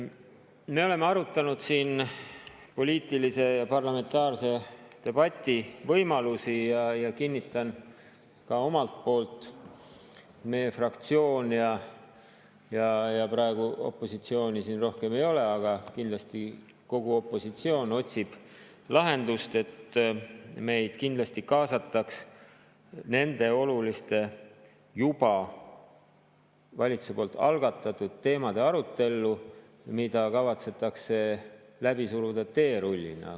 Me oleme arutanud siin poliitilise parlamentaarse debati võimalusi ja kinnitan ka omalt poolt, et meie fraktsioon ja, ehkki praegu opositsiooni siin rohkem ei ole, kindlasti kogu ülejäänud opositsioon otsib lahendust, et meid kindlasti kaasataks nende oluliste juba valitsuses algatatud teemade arutellu, mida kavatsetakse läbi suruda teerullina.